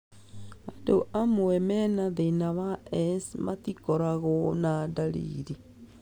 Andũ amwe mena thĩna wa ESS matikoragwo na ndariri